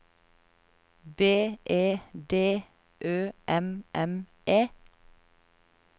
B E D Ø M M E